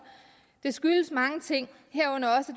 det skyldes mange ting herunder også